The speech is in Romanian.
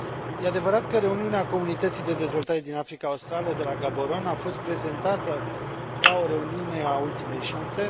E adevărat că reuniunea Comunității de Dezvoltare din Africa Australă de la Gaboron a fost prezentată ca o reuniune a ultimei șanse.